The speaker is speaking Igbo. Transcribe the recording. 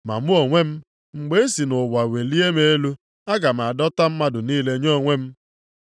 Ma mụ onwe m, mgbe e si nʼụwa welie m elu, aga m adọta mmadụ niile nye onwe m.”